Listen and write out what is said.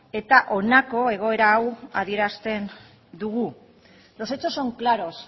eta honako egoera hau adierazten dugu los hechos son claros